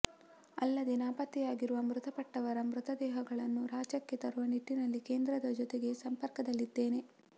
ಅಲ್ಲದೇ ನಾಪತ್ತೆಯಾಗಿರುವ ಮೃತಪಟ್ಟವರ ಮೃತದೇಹಗಳನ್ನು ರಾಜ್ಯಕ್ಕೆ ತರುವ ನಿಟ್ಟಿನಲ್ಲಿ ಕೇಂದ್ರದ ಜೊತೆಗೆ ಸಂಪರ್ಕದಲ್ಲಿದ್ದೇನೆ